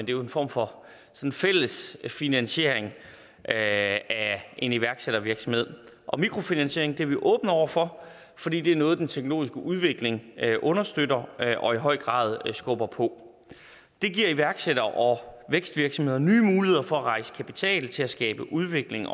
en form for fælles finansiering af en iværksættervirksomhed og mikrofinansiering er vi åbne overfor fordi det er noget den teknologiske udvikling understøtter og i høj grad skubber på det giver iværksættere og vækstvirksomheder nye muligheder for at rejse kapital til at skabe udvikling